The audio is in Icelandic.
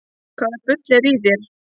Hvaða bull er í þér?